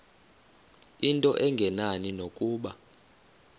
into engenani nokuba